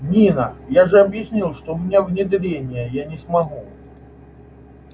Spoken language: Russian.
нина я же объяснил у меня внедрение я не смогу